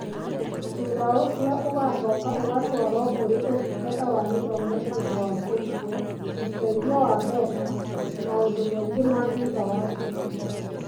Thutha ũcio ũgacoka ũgatwarwo kũrĩ Ũtungata wa Gĩthomo nĩ ũndũ wa kũrutwo, ũteithio wa mbeca, na maũndũ mangĩ ma thutha wa cukuru.